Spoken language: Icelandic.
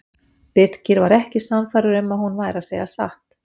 Birkir var ekki sannfærður um að hún væri að segja satt.